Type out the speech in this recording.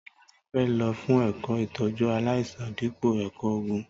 Tọlàní fẹ ló fún ẹkọ ìtọjú àláisàn dípò ẹkọ ògún.